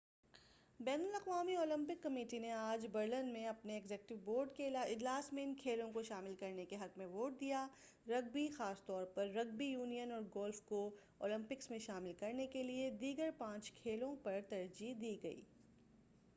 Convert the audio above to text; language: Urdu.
بین الاقوامی اولمپک کمیٹی نے آج برلن میں اپنے ایگزیکٹو بورڈ کے اجلاس میں ان کھیلوں کو شامل کرنے کے حق میں ووٹ دیا رگبی خاص طور پر رگبی یونین اور گولف کو اولمپکس میں شامل کرنے کیلئے دیگر پانچ کھیلوں پر ترجیح دی گئی